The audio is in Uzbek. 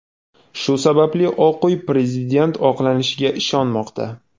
Shu sababli Oq uy prezident oqlanishiga ishonmoqda.